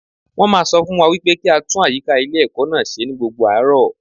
Wọ́n máa sọ fún wa wípé kí á tún àyíká ilé ẹ̀kọ́ náà ṣe ní gbogbo àárọ̀.